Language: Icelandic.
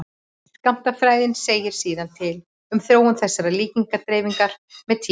skammtafræðin segir síðan til um þróun þessarar líkindadreifingar með tíma